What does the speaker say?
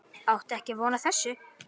Átti ekki von á þessu